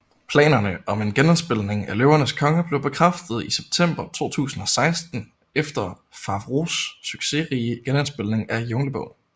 Planerne om en genindspilning af Løvernes Konge blev bekræftet i september 2016 efter Favreaus succesrige genindspilning af Junglebogen